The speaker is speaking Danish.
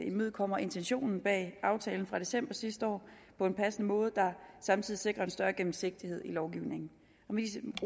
imødekommer intentionen bag aftalen fra december sidste år på en passende måde der samtidig sikrer en større gennemsigtighed i lovgivningen med disse